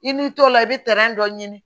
I n'i tɔla i bɛ dɔ ɲini